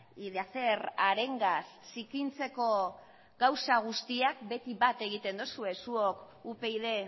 y de hacer arengas zikintzeko gauzak guztiak beti bat egiten dozue zuok upyd